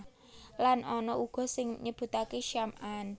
Lan ana uga sing nyebutaké Syam an